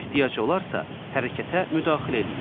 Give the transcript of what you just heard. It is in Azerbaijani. Ehtiyac olarsa, hərəkətə müdaxilə eləyir.